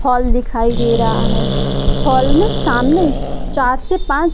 हाल दिखाई दे रहा है हॉल मे सामने चार से पांच